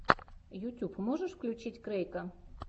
ютюб можешь включить крэйка